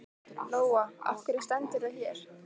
Lóa: Af hverju stendurðu hér?